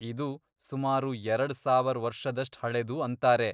ಇದು ಸುಮಾರು ಎರಡ್ ಸಾವರ್ ವರ್ಷದಷ್ಟ್ ಹಳೇದು ಅಂತಾರೆ.